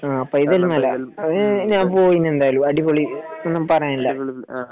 ആഹ് പൈതൽമല അത് ഞാൻ പോയിന് എന്തായാലും അടിപൊളി ഒന്നും പറയാനില്ല